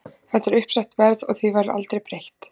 Þetta er uppsett verð og því verður aldrei breytt.